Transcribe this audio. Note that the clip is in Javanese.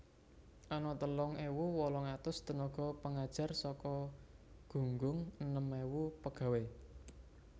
Ana telung ewu wolung atus tenaga pengajar saka gunggung enem ewu pegawai